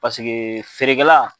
Paskee feerekɛla